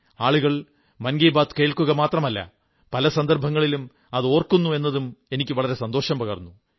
ആളുകൾ മൻ കീ ബാത് കേൾക്കുക മാത്രമല്ല പല സന്ദർഭങ്ങളിലും അത് ഓർക്കുന്നു എന്നതും എനിക്ക് വളരെ സന്തോഷം പകർന്നു